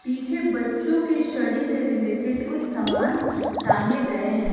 पीछे बच्चों के स्टडी से रिलेटेड कुछ सामान टांगे गए हैं।